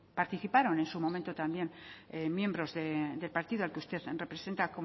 participaron en su momento también miembros del partido al que usted representa